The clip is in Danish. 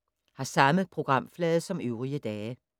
Samme programflade som øvrige dage